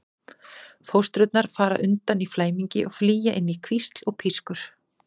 Fóstrurnar fara undan í flæmingi og flýja inn í hvísl og pískur.